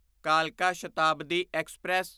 ਕਾਲਕਾ ਸ਼ਤਾਬਦੀ ਐਕਸਪ੍ਰੈਸ